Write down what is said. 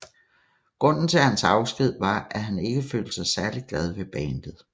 Grunden til hans afsked var at han ikke følte sig særlig glad ved bandet